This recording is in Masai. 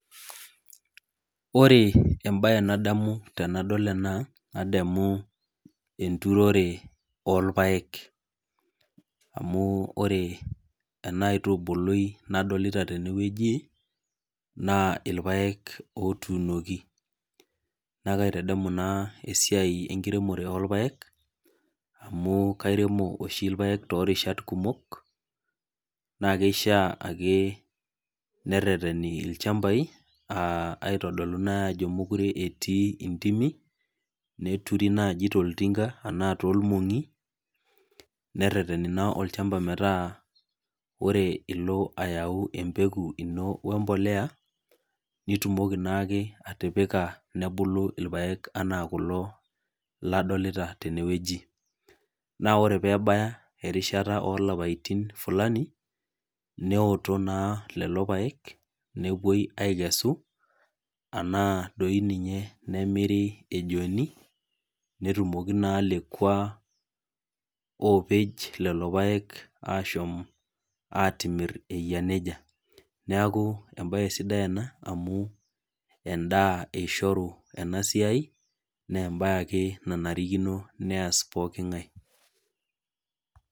Ore ebae nadamu tenadol ena, nadamu enturore orpaek. Amu ore ena aitubului nadolita tenewueji, naa irpaek otuunoki. Na kaitadamu naa esiai enkiremore orpaek, amu kairemo oshi irpaek torishat kumok, naa kishaa ake nerrerreni ilchambai, aitodolu nai ajo mekure etii intimi, neturi naji toltinka, anaa tolmong'i, nerrerreni naa olchamba metaa ore ilo ayau empeku ino wempolea, nitumoki naake atipika nebulu irpaek enaa kulo ladolita tenewueji. Na ore pebaya erishata olapaitin fulani, neoto naa lelo paek, nepuoi akesu, anaa doi ninye nemiri ejoni, netumoki naa lekua opej lelo paek ashom atimir eyia nejia. Neeku ebae sidai ena, amu endaa eishoru enasiai, nebae ake nanarikino nees pooking'ae.